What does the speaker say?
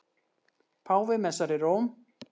Páfi messar í Róm